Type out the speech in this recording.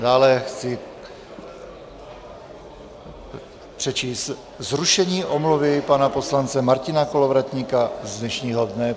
Dále chci přečíst zrušení omluvy pana poslance Martina Kolovratníka z dnešního dne.